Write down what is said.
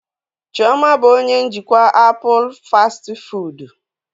Chioma bụ onye njikwa apụl fastị fụụdụ.